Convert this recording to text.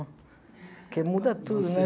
Porque muda tudo, né?